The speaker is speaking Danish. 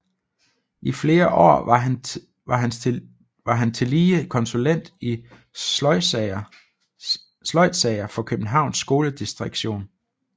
I flere år var han tillige konsulent i sløjdsager for Københavns skoledirektion